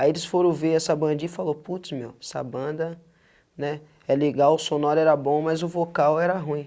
Aí eles foram ver essa bandinha e falou, putz meu, essa banda né, é legal, o sonoro era bom, mas o vocal era ruim.